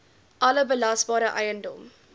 alle belasbare eiendom